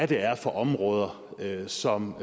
det er for områder som